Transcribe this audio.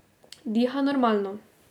Diha normalno.